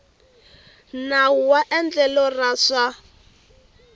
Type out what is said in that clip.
nawu wa endlelo ra swa